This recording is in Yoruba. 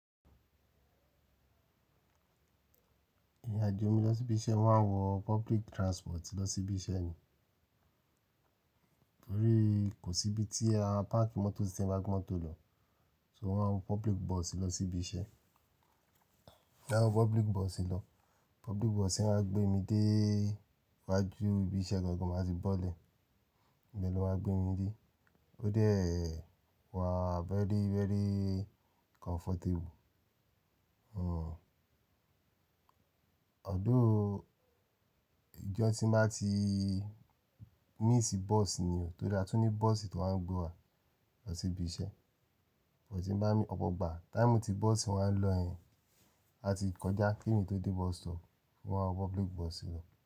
Ìrìnàjò mi lọ sí ibi iṣẹ́ máa ń wọ public transport lọ sí ibi iṣẹ́ ni. Nítorí kò sí ibi tí a, páàkì mọ́tò tí n bá gbe mọ́tò lọ, so mo máa ń wo public bus lọ sí ibi iṣẹ́. Ti n bá wọ public bus lọ, public bus máa gbé mi dé wá ju ibi iṣẹ́ gangan máa tì bọ́ lè. Oun lo wa gbe mi nibi, ó dé ẹ, wà very, very comfortable. Although ìjọ́ tí n bá ti miss bus ni o, torí a tún ní bus tó ń gbé wa lọ sí ibi iṣẹ́. But tí n bá mí, ọ̀pọ̀ igbá, táímù tí bus ń wà ń lọ yen, a ti kọjá kí emi tó dé bus stop, wọ́n ma wọ public bus lọ.